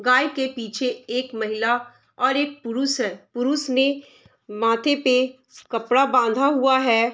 गाय के पीछे एक महिला और एक पुरुष है पुरुष ने माथे पे कपड़ा बाँधा हुआ है।